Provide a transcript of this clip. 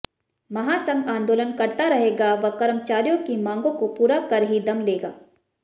महासंघ आन्दोलन करता रहेगा व कर्मचारियों की मागों को पूरा कर ही दम लेगा